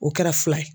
O kɛra fila ye